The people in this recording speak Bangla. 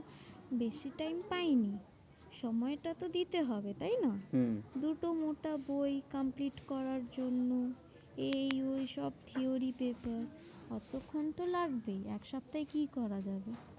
বেশি time পাইনি সময়টা তো দিতে হবে তাই না? হম দুটো মোটা বই complete করার জন্য। এই ওই সব theory base এ অতক্ষণ তো লাগবেই, এক সপ্তাহে কি করা যাবে?